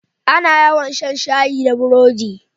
A na yawa shan shayi da burodi